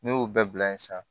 Ne y'o bɛɛ bila yen sisan